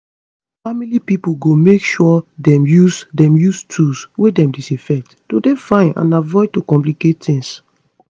family pipo go make sure dem use dem use tools wey dem disinfect to dey fine and avoid to complicate tings